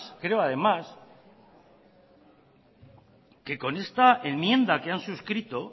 creo además que con esta enmienda que han suscrito